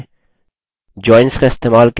joins का इस्तेमाल कैसे करें